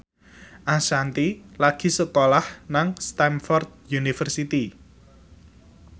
Ashanti lagi sekolah nang Stamford University